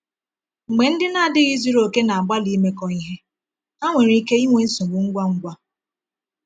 Mgbe ndị na-adịghị zuru oke na-agbalị imekọ ihe, ha nwere ike inwe nsogbu ngwa ngwa.